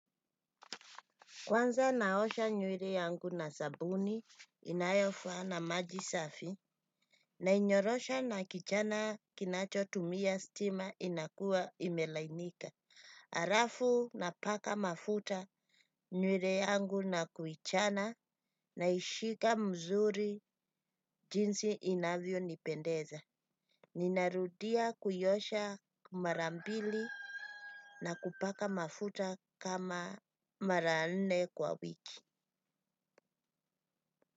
Kwanza naosha nywere yangu na sabuni inayofaa na maji safi nainyorosha na kichana kinacho tumia stima inakua imelainika. Arafu na paka mafuta nywere yangu na kuichana na ishika mzuri jinsi inavyo nipendeza. Ninarudia kuiosha mara mbili na kuipaka mafuta kama mara nne kwa wiki.